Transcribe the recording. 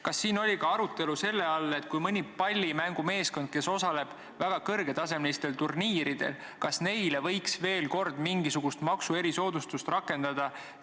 Kas on olnud arutelu selle üle, et kui mõni pallimängumeeskond osaleb väga kõrgetasemelistel turniiridel, kas neile võiks veel mingisugust maksu erisoodustust rakendada?